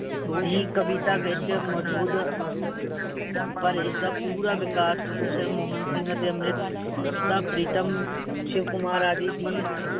ਦੀ ਕਵਿਤਾ ਵਿੱਚ ਮੋਜੂਦ ਪਰ ਇਸ ਦਾ ਪੂਰਾ ਵਿਕਾਸ professor ਮੋਹਨ ਸਿੰਘ ਅਤੇ ਅਮ੍ਰਿਤਾਪ੍ਰੀਤਮ ਸ਼ਿਵ ਕੁਮਾਰ ਆਦਿ ਦੀ